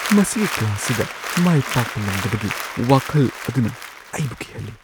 ꯃꯁꯤꯒꯤ ꯀ꯭ꯂꯥꯁꯁꯤꯗ ꯃꯥꯏ ꯄꯥꯛꯄ ꯉꯝꯗꯕꯒꯤ ꯋꯥꯈꯜ ꯑꯗꯨꯅ ꯑꯩꯕꯨ ꯀꯤꯍꯜꯂꯤ꯫